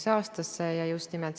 Tänan küsimuse eest!